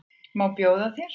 Má bjóða þér?